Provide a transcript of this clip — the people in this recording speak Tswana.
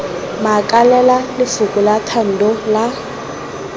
makalela lefoko la thando la